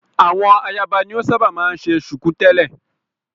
Àwọn ayaba ni o ṣábà máa ń ṣe ṣùkú tẹ̀lẹ́.